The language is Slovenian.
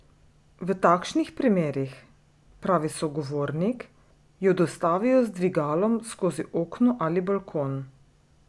V takšnih primerih, pravi sogovornik, jo dostavijo z dvigalom skozi okno ali balkon.